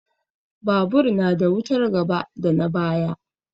Babur na da wutar gaba da na baya.